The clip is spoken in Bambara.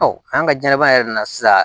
an ka ɲanaban yɛrɛ nana sisan